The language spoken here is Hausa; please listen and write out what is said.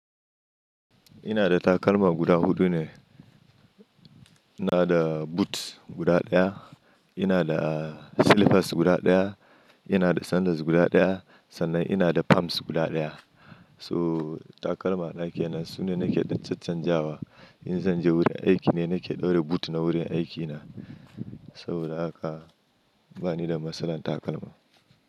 Ina da takalma guda huɗu ne. Ina da boots guda ɗaya, ina da slippers guda ɗaya, ina da sandals guda ɗaya sannan ina da palms guda ɗaya. To takalma na ke nan sune nake ɗan caccanjawa. In zan je wurin aiki ne nake ɗaura boot na wurin aikina saboda haka bani da matsalar takalma.